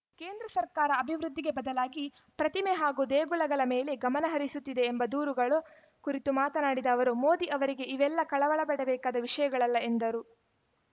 ಕೇಂದ್ರ ಸರ್ಕಾರ ಅಭಿವೃದ್ಧಿಗೆ ಬದಲಾಗಿ ಪ್ರತಿಮೆ ಹಾಗೂ ದೇಗುಲಗಳ ಮೇಲೆ ಗಮನಹರಿಸುತ್ತಿದೆ ಎಂಬ ದೂರುಗಳ ಕುರಿತು ಮಾತನಾಡಿದ ಅವರು ಮೋದಿ ಅವರಿಗೆ ಇವೆಲ್ಲಾ ಕಳವಳಪಡಬೇಕಾದ ವಿಷಯಗಳಲ್ಲ ಎಂದರು